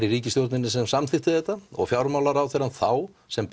í ríkisstjórninni sem samþykkti þetta og fjármálaráðherrann þá sem